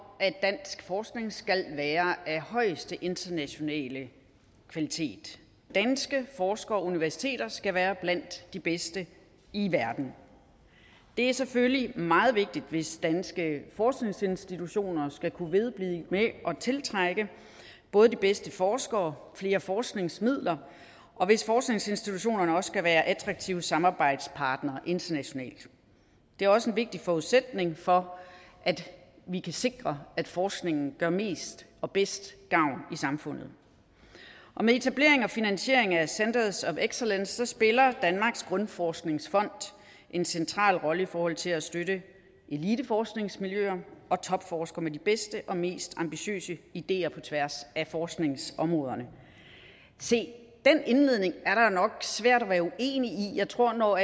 at dansk forskning skal være af højeste internationale kvalitet danske forskere og universiteter skal være blandt de bedste i verden det er selvfølgelig meget vigtigt hvis danske forskningsinstitutioner skal kunne vedblive med at tiltrække både de bedste forskere og flere forskningsmidler og hvis forskningsinstitutionerne også skal være attraktive samarbejdspartnere internationalt det er også en vigtig forudsætning for at vi kan sikre at forskningen gør mest og bedst gavn i samfundet med etablering og finansiering af centers of excellence spiller danmarks grundforskningsfond en central rolle i forhold til at støtte eliteforskningsmiljøer og topforskere med de bedste og mest ambitiøse ideer på tværs af forskningsområderne se den indledning er det nok svært at være uenig i jeg tror når